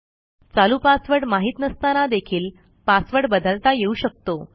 चालू पासवर्ड माहित नसताना देखील पासवर्ड बदलता येऊ शकतो